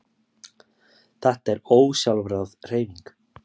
Þetta er ósjálfráð hreyfing.